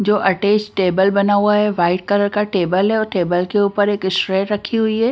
जो attach table बना हुआ है वाइट कलर का टेबल है और टेबल के ऊपर एक इशट्रे रखी हुई है।